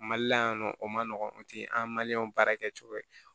Mali la yan nɔ o ma nɔgɔn o tɛ an ka mali baara kɛ cogo ye